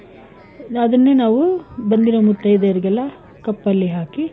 ಅದನ್ನೇ ನಾವು ಬಂದಿರೊ ಮುತ್ತೈದೆಯರಿಗೆಲ್ಲ cup ಅಲ್ಲಿ ಹಾಕಿ,